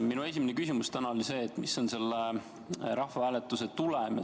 Minu esimene küsimus täna oli see, mis on selle rahvahääletuse tulem.